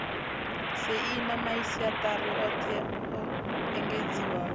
saina masiaṱari oṱhe o engedziwaho